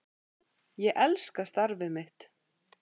Ég elska starfið mitt.